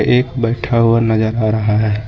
एक बैठा हुआ नजर आ रहा है।